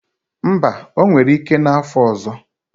Mba, o nwere ike n'afo ọzọ